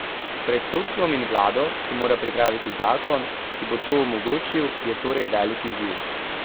Pred sodstvom in vlado, ki mora pripraviti zakon, ki bo to omogočil, je torej velik izziv.